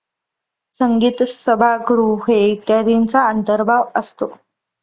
संगीत सभागृहे इत्यादींचा अंतर्भाग असतो.